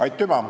Aitüma!